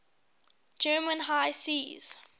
german high seas